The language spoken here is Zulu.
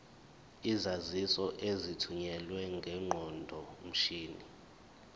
izaziso ezithunyelwe ngeqondomshini